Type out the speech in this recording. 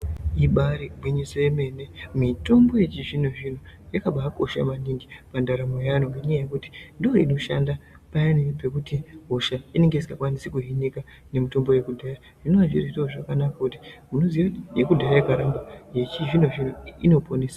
Ibaari gwinyiso yemene, mitombo yechizvino-zvino yakabaakosha maningi pandaramo yeanhu ngenyaya yekuti ndooinoshanda payani pekuti hosha inenge isingakwanisi kuhinika nemitombo yekudhaya. Zvinova zviri zviro zvakanaka nekuti munoziya kuti yekudhaya yaibaarapa, yechizvino-zvino inoponesa.